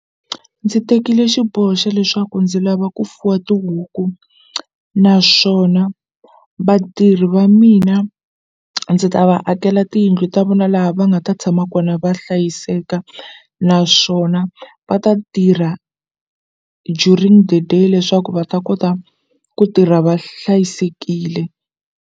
Ndzi tekile xiboho xa leswaku ndzi lava ku fuwa tihuku naswona vatirhi va mina ndzi ta va akela tiyindlu ta vona laha va nga ta tshama kona va hlayiseka naswona va ta tirha during the day leswaku va ta kota ku tirha va hlayisekile.